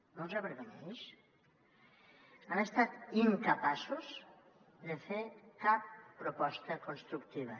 no els avergonyeix han estat incapaços de fer cap proposta constructiva